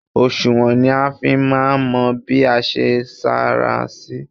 Òsùnwọ̀n ni a fi máa ń mọ bí a ṣe sanra sí.